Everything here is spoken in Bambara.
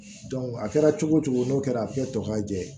a kɛra cogo o cogo n'o kɛra a bɛ kɛ tɔ ka jɛ ye